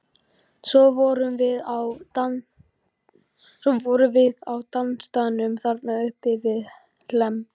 Svo vorum við á dansstaðnum þarna uppi við Hlemm.